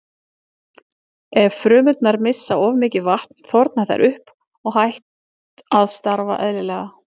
Ef frumurnar missa of mikið vatn þorna þær upp og hætt að starfa eðlilega.